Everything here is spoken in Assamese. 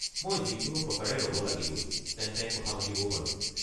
মই যিকোনো প্ৰকাৰে ৰ'ব লাগিবই, তেন্তে কথা পাতিবও পাৰো।